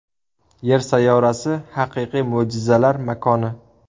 Yer sayyorasi haqiqiy mo‘jizalar makoni.